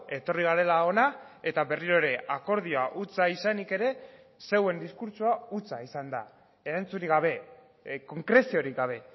etorri garela hona eta berriro ere akordioa hutsa izanik ere zeuen diskurtsoa hutsa izan da erantzunik gabe konkreziorik gabe